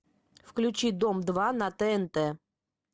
включи дом два на тнт